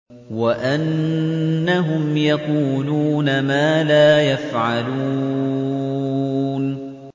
وَأَنَّهُمْ يَقُولُونَ مَا لَا يَفْعَلُونَ